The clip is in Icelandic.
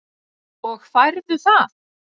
Og færðu það?